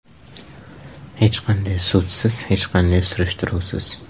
Hech qanday sudsiz, hech qanday surishtiruvsiz.